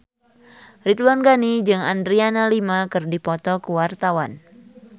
Ridwan Ghani jeung Adriana Lima keur dipoto ku wartawan